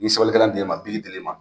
N'i sɛbɛlikɛlan dil'i ma biki dil'i ma